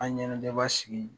A ɲanajɛ baa sigi